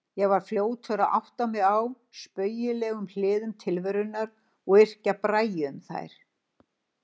Ég var fljótur að átta mig á spaugilegum hliðum tilverunnar og yrkja bragi um þær.